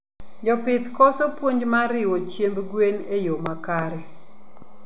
Jopith koso puonj mar riwo chiemb gwen e yoo makare